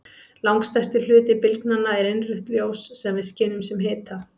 Langstærsti hluti bylgnanna er innrautt ljós sem við skynjum sem hita.